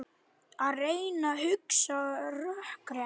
Að reyna að hugsa rökrétt